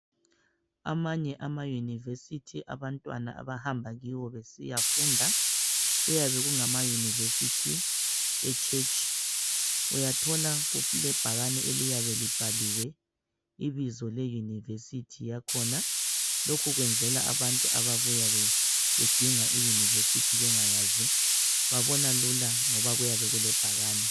Amanye amayunivesithi abantwana abahamba kiwo besiyafunda kuyabe kungama yunivesithi echurch. Uyathola kuyabe kulebhakane eliyabe libhaliwe ibizo leyunivesithi yakhona, lokhukwenzelwa abantu abayabe bedinga iyunivesithi yakhona, babona lula ngoba kuyabe kulebhakane.